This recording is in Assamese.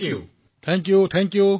প্ৰধানমন্ত্ৰীঃ ধন্যবাদ ধন্যবাদ